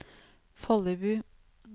Follebu